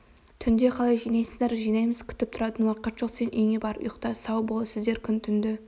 түнде қалай жинайсыздар жинаймыз күтіп тұратын уақыт жоқ сен үйіңе барып ұйықта сау бол сіздер күн-түнді